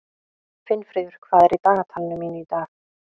Finnfríður, hvað er í dagatalinu mínu í dag?